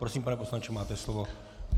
Prosím, pane poslanče, máte slovo.